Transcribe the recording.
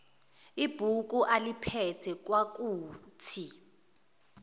ibhuku aliphethe kwakuthi